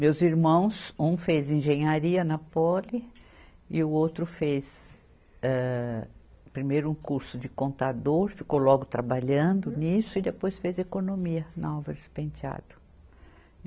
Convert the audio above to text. Meus irmãos, um fez engenharia na Poli e o outro fez, âh, primeiro um curso de contador, ficou logo trabalhando nisso e depois fez economia na Álvares Penteado.